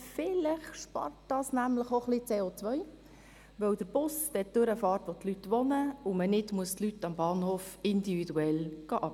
Vielleicht spart das nämlich auch ein wenig CO, weil der Bus dort durchfährt, wo die Leute wohnen und man die Leute nicht individuell am Bahnhof abholen muss.